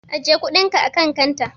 Ajiye kuɗinka akan kanta.